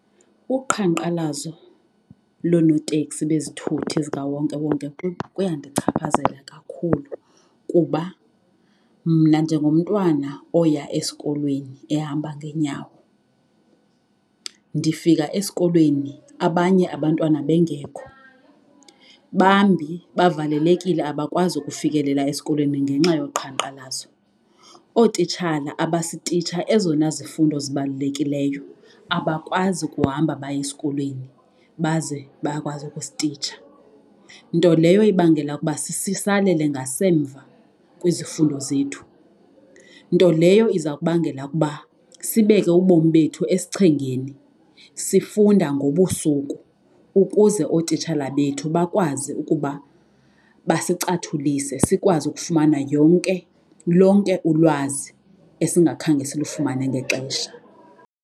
Uqhankqalazo lonooteksi bezithuthi zikawonkewonke kuyandichaphazela kakhulu kuba mna njengomntwana oya esikolweni ehamba ngeenyawo, ndifika esikolweni abanye abantwana bengekho bambi bavalelekile abakwazi ukufikelela esikolweni ngenxa yoqhankqalazo. Ootitshala abasititsha ezona zifundo zibalulekileyo abakwazi ukuhamba baye esikolweni baze bayakwazi ukusititsha nto leyo ibangela ukuba sisalele ngasemva kwizifundo zethu. Nto leyo iza kubangela ukuba sibeke ubomi bethu esichengeni sifunda ngobusuku ukuze ootitshala bethu bakwazi ukuba basicathulise, sikwazi ukufumana yonke lonke ulwazi esingakhange silufumane ngexesha.